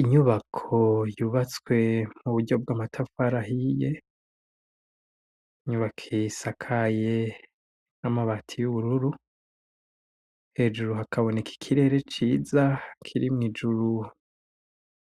Inyubako yubatswe mu buryo bw'amatafari ahiye, inyubako isakaye n'amabati y'ubururu, hejuru hakaboneka ikirere ciza kirimwo ijuru